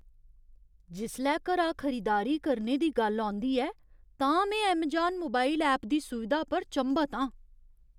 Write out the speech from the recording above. जिसलै घरा खरीदारी करने दी गल्ल औंदी ऐ तां में ऐमजान मोबाइल ऐप दी सुविधा पर चंभत आं।